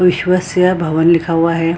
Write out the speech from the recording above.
विश्वशय भवन लिखा हुआ है।